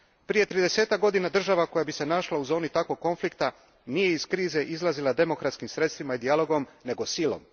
Prije tridesetak godina država koja bi se našla u zoni takvog konflikta nije iz krize izlazila demokratskim sredstvima i dijalogom, nego silom.